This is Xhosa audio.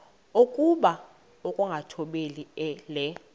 okokuba ukungathobeli le